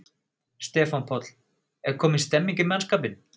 Stefán Páll: Er komin stemning í mannskapinn?